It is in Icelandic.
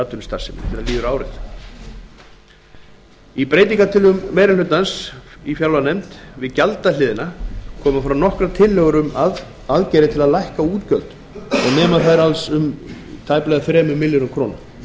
atvinnustarfseminni þegar líður á árið í breytingartillögum meiri hlutans í fjárlaganefnd við gjaldahliðina koma fram nokkrar tillögur um aðgerðir til að lækka útgjöld og nema þær alls tæplega þremur milljörðum króna